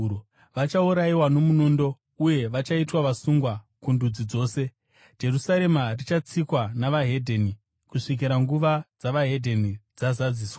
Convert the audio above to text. Vachaurayiwa nomunondo uye vachaitwa vasungwa kundudzi dzose. Jerusarema richatsikwa neveDzimwe Ndudzi kusvikira nguva dzeveDzimwe Ndudzi dzazadziswa.